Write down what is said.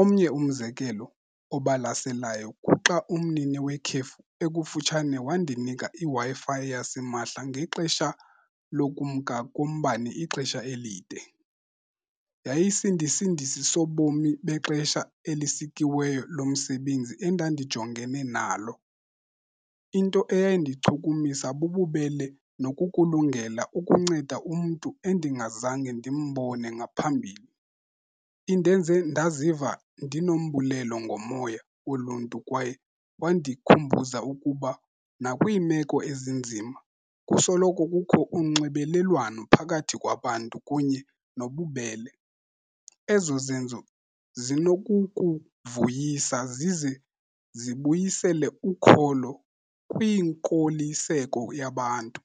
Omnye umzekelo obalaselayo kuxa umnini wekhefu ekufutshane wandinika iWi-Fi yasimahla ngexesha lokumka kombane ixesha elide. Yayisindisindisi sobomi bexesha elisikiweyo lomsebenzi endandijongene nalo. Into eyayindichukumisa bububele nokukulungela ukunceda umntu endingazange ndimbone ngaphambili. Indenze ndaziva ndinombulelo ngomoya woluntu kwaye kwandikhumbuza ukuba nakwiimeko ezinzima kusoloko kukho unxibelelwano phakathi kwabantu kunye nobubele. Ezo zenzo zinokukuvuyisa zize zibuyisele ukholo kwiinkoliseko yabantu.